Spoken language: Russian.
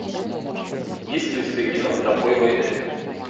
есть ли у тебя кино тропой войны